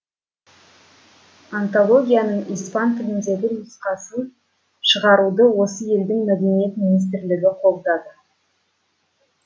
антологияның испан тіліндегі нұқасын шығаруды осы елдің мәдениет министрлігі қолдады